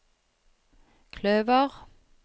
kløver